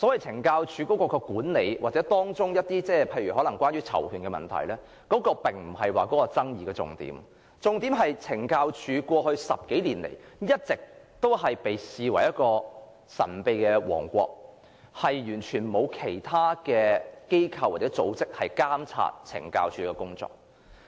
懲教署的管理或當中涉及的囚權問題並非爭議重點，重點其實在於懲教署在過去10多年來一直被視為神秘的王國，工作完全不受其他機構或組織監察。